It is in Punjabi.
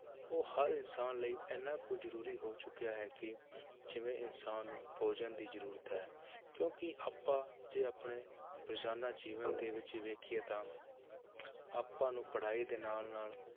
ਉਹ ਹਰ ਇਨਸਾਨ ਲਈ ਇੰਨਾ ਕੁ ਜ਼ਰੂਰੀ ਹੋ ਚੁੱਕਿਆ ਹੈ ਕਿ ਜਿਵੇਂ ਇਨਸਾਨ ਨੂੰ ਭੋਜਨ ਦੀ ਜ਼ਰੂਰਤ ਹੈ ਕਿਉਂਕਿ ਆਪਾਂ ਜੇ ਆਪਣੇ ਰੋਜ਼ਾਨਾ ਜੀਵਨ ਦੇ ਵਿੱਚ ਹੀ ਵੇਖੀਏ ਤਾਂ ਆਪਾਂ ਨੂੰ ਪੜ੍ਹਾਈ ਦੇ ਨਾਲ ਨਾਲ